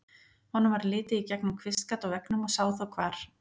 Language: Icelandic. Honum varð litið í gegnum kvistgat á veggnum og sá þá hvar